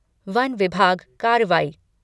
one विभाग कार्रवाई